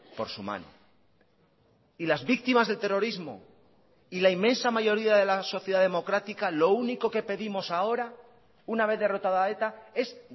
por su mano y las víctimas del terrorismo y la inmensa mayoría de la sociedad democrática lo único que pedimos ahora una vez derrotada eta es